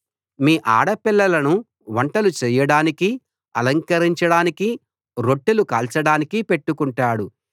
మీ ఆడపిల్లలను వంటలు చేయడానికి అలంకరించడానికి రొట్టెలు కాల్చడానికి పెట్టుకొంటాడు